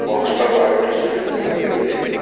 Box પર Maruti Suzuki લખેલું છે.